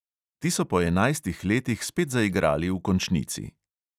Ti so po enajstih letih spet zaigrali v končnici.